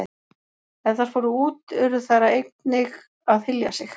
Ef þær fóru út urðu þær að einnig að hylja sig.